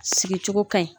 Sigi cogo ka ɲi